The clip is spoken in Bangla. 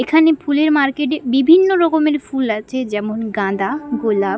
এখানে ফুলের মার্কেট -এ বিভিন্ন রকমের ফুল আছে যেমন গাঁদা গোলাপ।